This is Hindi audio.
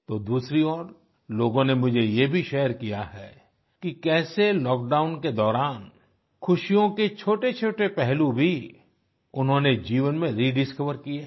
तो दूसरी ओर लोगों ने मुझे ये भी शेयर किया है कि कैसे लॉकडाउन के दौरान खुशियों के छोटेछोटे पहलू भी उन्होंने जीवन में रेडिस्कवर किए हैं